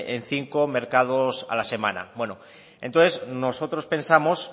en cinco mercados a la semana bueno entonces nosotros pensamos